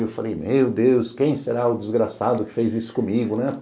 E eu falei, meu Deus, quem será o desgraçado que fez isso comigo, né?